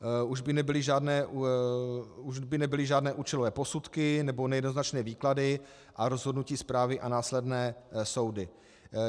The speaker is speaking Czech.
Už by nebyly žádné účelové posudky nebo nejednoznačné výklady a rozhodnutí správy a následné soudy.